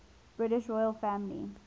british royal family